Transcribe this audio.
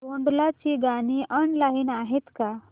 भोंडला ची गाणी ऑनलाइन आहेत का